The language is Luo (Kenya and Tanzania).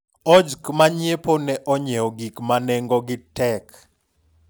ojk manyiepo ne onyiewo gik ma nengo gi tek